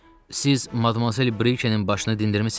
Siz Madmazel Brikenin başını dindirmisiz?